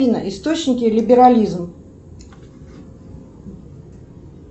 афина источники либерализм